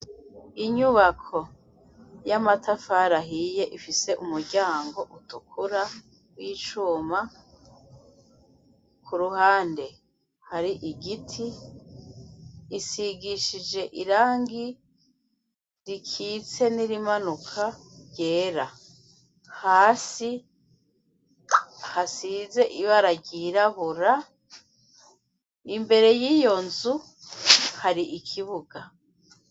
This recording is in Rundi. Inyubako y'amatafari ahiye ifise umuryango utukura w'icuma, ku ruhande hari igiti, isigishije irangi rikitse n'irimanuka ryera. Hasi hasize ibara ryirabura. Imbere y'iyo nzu, hari ikibuga.